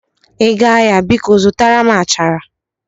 Ị gaa ahịa, biko zụtara m achara